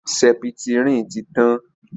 sẹpítirínì tí tán.